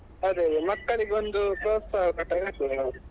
ಅದೇ ಅದೇ ಮಕ್ಕಳಿಗೆ ಒಂದು ಪ್ರೋತ್ಸಾಹ ಕೊಟ್ಟಾಗೆ ಆಗ್ತದೇ ಹಾ.